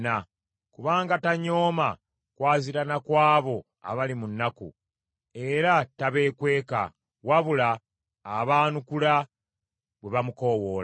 Kubanga tanyooma kwaziirana kw’abo abali mu nnaku, era tabeekweka, wabula abaanukula bwe bamukoowoola.